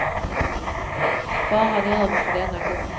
Faran är över för denna gång.